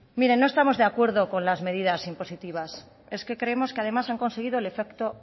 mire no estamos de acuerdo con las medidas impositivas es que creemos que además han conseguido el efecto